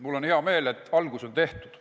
Mul on hea meel, et algus on tehtud.